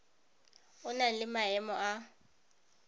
o na le maemo a